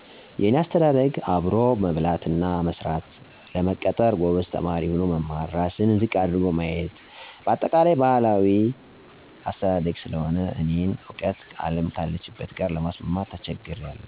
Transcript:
የኔ አስተዳደግ አብሮ መብላት እና መስራት፣ ለመቀጠር ጎበዝ ተማሪ ሆኖ መማር፣ ራስን ዝቅ አድርጎ ማየት በአጠቃላይ ባህላዊ የሆነ አስተዳግ ስለሆነ የእኔን እውቀት አለም ካለችበት ጋር ለማስማማት ተቸግሬአለሁ።